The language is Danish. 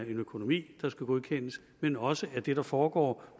en økonomi der skal godkendes men også at det der foregår